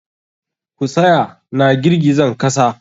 Ku tsaya na girgizan kasa!